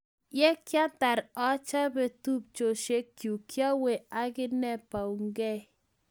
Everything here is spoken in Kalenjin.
Ye kiatar achobe tupchoshek chuk, kiawe akine baunkei